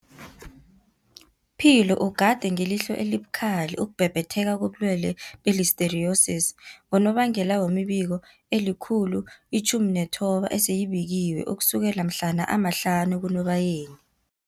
Philo ugade ngelihlo elibukhali ukubhebhetheka kobulwele be-Listeriosis, ngonobangela wemibiko eli-119 eseyibikiwe ukusukela mhlana ama-5 kuNobayeni.